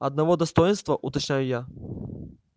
одного достоинства уточняю я